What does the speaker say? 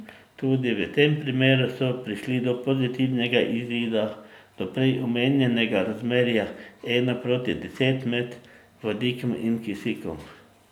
Tudi v tem primeru so prišli do pozitivnega izida, do prej omenjenega razmerja ena proti deset med vodikom in kisikom.